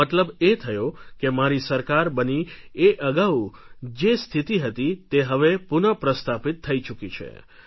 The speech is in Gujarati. મતલબ એ થયો કે મારી સરકાર બની એ અગાઉ જે સ્થિતિ હતી તે હવે પુનઃ પ્રસ્થાપિત થઈ ચૂકી છે